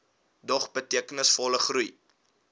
dog betekenisvolle groei